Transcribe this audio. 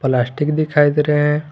Plastic दिखाई दे रहे हैं।